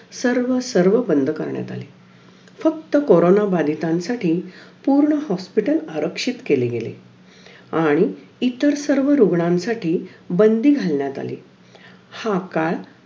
अं मग अस मला दहावीला ऐक्यनव percentage पडले मग नंतर मी काय करायचे म्हणून लातूर ला पेपर देयला गेले.तेथे